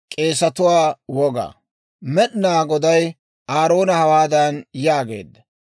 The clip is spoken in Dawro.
Med'inaa Goday Aaroona hawaadan yaageedda;